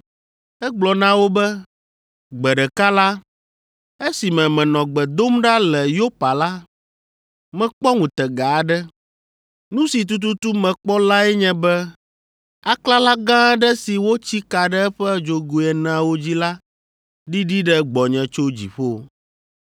Egblɔ na wo be, “Gbe ɖeka la, esime menɔ gbe dom ɖa le Yopa la, mekpɔ ŋutega aɖe. Nu si tututu mekpɔ lae nye be aklala gã aɖe si wotsi ka ɖe eƒe dzogoe eneawo dzi la ɖiɖi ɖe gbɔnye tso dziƒo.